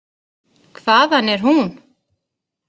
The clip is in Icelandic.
Hvaðan er hún?